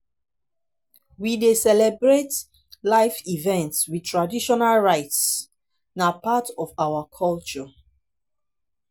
we dey celebrate life events with traditional rites; na part of our culture.